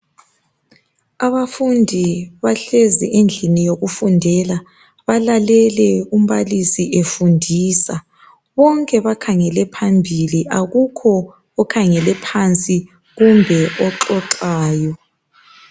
Abafundi bahlezi endlini yokufundela balalele umbalisi efundisa bonke bakhangele bakhangele phambili kukhona okhangele phansi kumbe oxoxayo